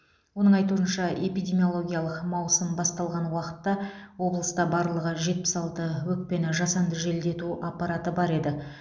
оның айтуынша эпидемиологиялық маусым басталған уақытта облыста барлығы жетпіс алты өкпені жасанды желдету аппараты бар еді